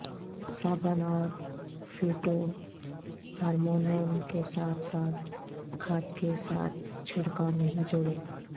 صابن اور فیوٹو ہارمونون کے ساتھ ساتھ کھاد کے ساتھ چھڑکاو نہیں جوڑیں